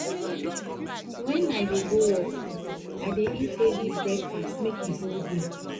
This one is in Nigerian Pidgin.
wen i dey go work i dey eat heavy breakfast make e hold me